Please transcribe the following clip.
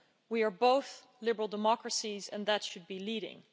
We are both liberal democracies, and that should be leading.